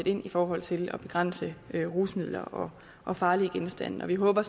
ind i forhold til at begrænse rusmidler og farlige genstande og vi håber